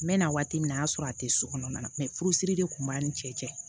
N mɛɛnna waati min na o y'a sɔrɔ a tɛ so kɔnɔna na mɛ furu siri de tun b'a ni cɛ cɛ